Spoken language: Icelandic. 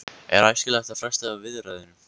Er æskilegt að fresta viðræðum?